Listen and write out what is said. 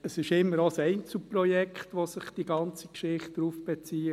Es handelt sich immer auch um ein Einzelprojekt, auf das sich die ganze Geschichte bezieht;